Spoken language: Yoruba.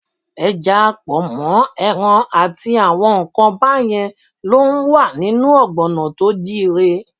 Ẹja, pọ̀nmọ́, ẹran àti àwọn nǹkan báyẹn ló ń wà nínú ọ̀gbọ̀nà tó jíire.